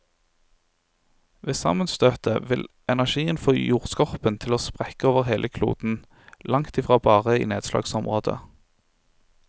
Ved sammenstøtet vil energien få jordskorpen til å sprekke over hele kloden, langt i fra bare i nedslagsområdet.